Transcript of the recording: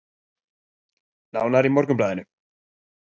Nánar í Morgunblaðinu